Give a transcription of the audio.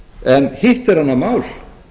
en hitt er annað mál